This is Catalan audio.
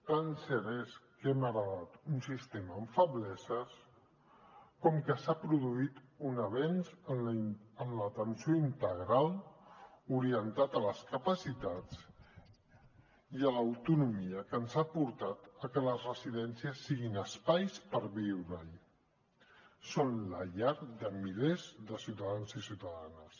tan cert és que hem heretat un sistema amb febleses com que s’ha produït un avenç en l’atenció integral orientat a les capacitats i a l’autonomia que ens ha portat a que les residències siguin espais per viure hi són la llar de milers de ciutadans i ciutadanes